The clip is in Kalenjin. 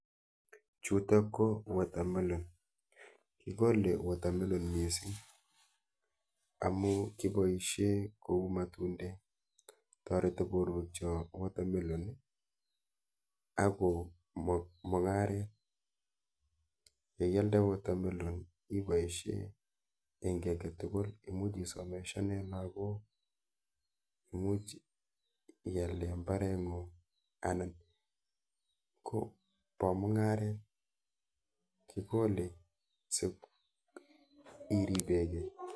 Chutok ko water mellon. Kokole water mellon mising amu kipoishe kou matundek. Toreti borwekchok warwe mellon i akomung'aret , yeialde water mellon imuchi iboishe eng kiy eketukul, imuchi isomeshane lagok, imuch iale mbareng'ung anan ko po mung'aret, kikole si iripekei.